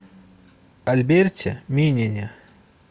альберте минине